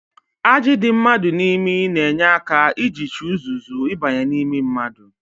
Ajị dị mmadụ n'imi na-enye aka ijichi uzuzu ịbanye n'imi mmadụ